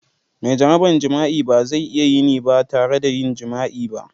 Mai jaraban jima'i ba zai iya yin ba tare da yin jima'i ba.